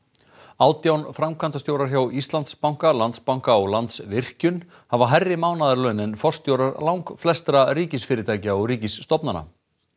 átján framkvæmdastjórar hjá Íslandsbanka Landsbanka og Landsvirkjun hafa hærri mánaðarlaun en forstjórar langflestra ríkisfyrirtækja og ríkisstofnana